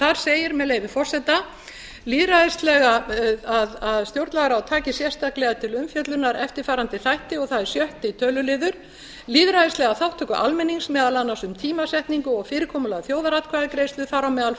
þar segir með leyfi forseta að stjórnlagaráð taki sérstaklega til umfjöllunar eftirfarandi þætti og það er sjötta töluliður lýðræðislega þátttöku almennings meðal annars um tímasetningu og fyrirkomulag þjóðaratkvæðagreiðslu þar á meðal um